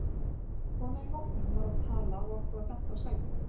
Kona í hópnum var að tala og okkur var bent á sæti.